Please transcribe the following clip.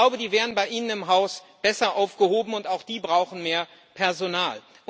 Ich glaube, die wären bei Ihnen im Haus besser aufgehoben und brauchen auch mehr Personal.